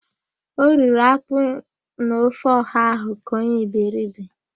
O riri ákpú na ofe ọha ahụ ka onye iberibe.